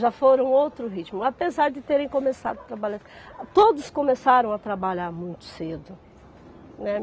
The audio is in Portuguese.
Já foram outro ritmo, apesar de terem começado a trabalhar... Todos começaram a trabalhar muito cedo, né?